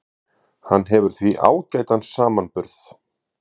Hann hefur því ágætan samanburð